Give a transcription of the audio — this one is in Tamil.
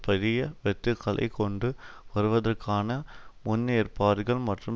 பெரிய வெட்டுக்களைக் கொண்டு வருவதற்கான முன்னேற்பாடுகள் மற்றும்